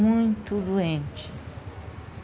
muito doente.